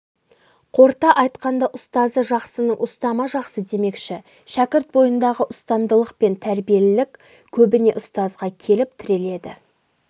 қорыта айтқанда ұстазы жақсының ұстамы жақсы демекші шәкірт бойындағы ұстамдылық пен тәрбиелілік көбіне ұстазға келіп тіреледі